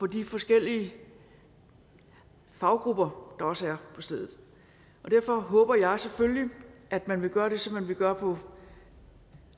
de forskellige faggrupper der også er på stedet og derfor håber jeg selvfølgelig at man vil gøre det som man vil gøre på